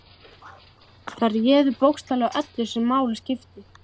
Þær réðu bókstaflega öllu sem máli skipti.